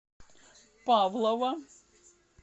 павлово